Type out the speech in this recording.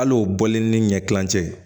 Hal'o bɔlen ni ɲɛ kilen cɛ ye